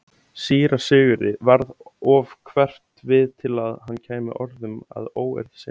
Síra Sigurði varð of hverft við til að hann kæmi orðum að óeirð sinni.